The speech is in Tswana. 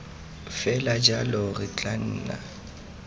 fela jalo re tla nna